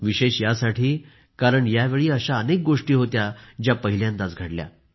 विशेष यासाठी कारण यावेळी अशा अनेक गोष्टी होत्या ज्या पहिल्यांदाच घडल्या